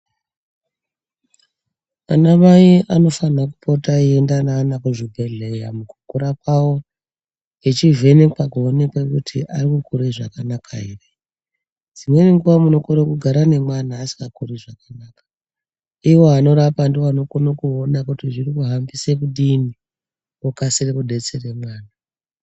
Anamai anofanirwa kupota eienda nevana kuzvibhedhleya mukukura kwawo echivhenekwa kuonekwa kuti ari kukura zvakanaka ere dzimweni nguwa munokone kugara nemwana asingakuri zvakanaka iwo anorapa ndovanokasira kuona kuti zviri kuhambise kudini okasira kudetsereka.